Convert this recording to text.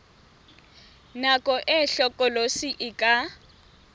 nako e hlokolosi e ka